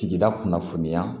Sigida kunnafoniya